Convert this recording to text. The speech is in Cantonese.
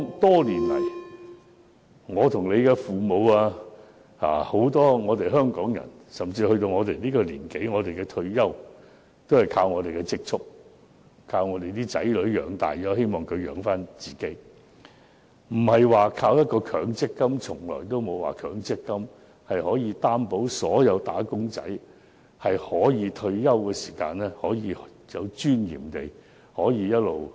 多年來，我們的父母，以及很多香港人，到了我們這個年紀，退休後也是靠自己的積蓄過活，以及靠子女供養，而不是依靠強積金，從來沒有強積金可以保證所有"打工仔"在退休時能有尊嚴地生活。